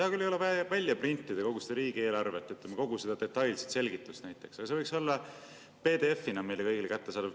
Hea küll, ei ole vaja välja printida kogu seda riigieelarvet, näiteks kogu seda detailset selgitust, aga see võiks olla PDF‑ina meile kõigile kättesaadav.